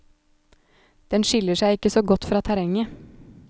Den skiller seg ikke så godt fra terrenget.